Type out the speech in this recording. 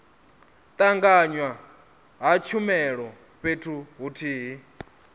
tanganywa ha tshumelo fhethu huthihi